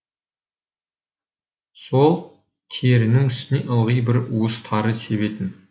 сол терінің үстіне ылғи бір уыс тары себетін